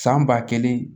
San ba kelen